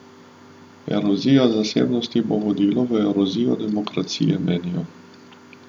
Erozija zasebnosti bo vodila v erozijo demokracije, menijo.